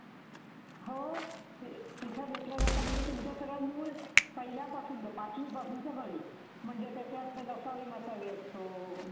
Cultural vultural व्हयं?